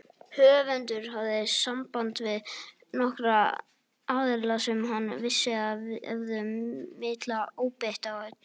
Höfundur hafði samband við nokkra aðila sem hann vissi að hefðu mikla óbeit á gúrkum.